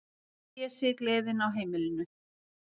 Pési, gleðin á heimilinu.